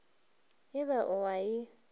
e ba o a e